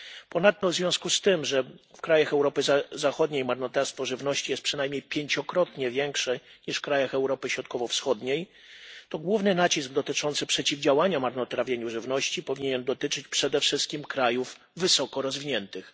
Ponadto w związku z tym, że w krajach Europy Zachodniej marnotrawstwo żywności jest przynajmniej pięciokrotnie większe niż w krajach Europy Środkowo Wschodniej, główny nacisk na przeciwdziałanie marnotrawieniu żywności powinien dotyczyć przede wszystkim krajów wysoko rozwiniętych.